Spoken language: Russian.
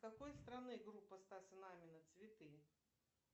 какой страны группа стаса намина цветы